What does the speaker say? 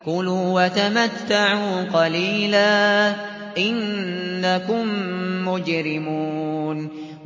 كُلُوا وَتَمَتَّعُوا قَلِيلًا إِنَّكُم مُّجْرِمُونَ